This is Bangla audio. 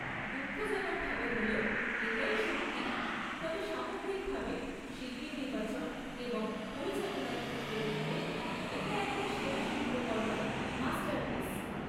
দুঃখজনকভাবে হলেও এটাই সত্যি, তবে সামগ্রিকভাবে শিল্পী নির্বাচন এবং পরিচালনার ক্ষেত্রে দেখলে, এটা একটা সেরা শিল্পকর্ম, মাষ্টারপিস।